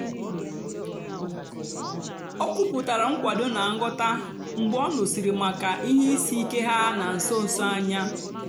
o kwùputàra nkwàdò na nghọ́tá mgbe ọ nụ́sị̀rị́ maka ihe ìsìkè ha na nsó nsó anya.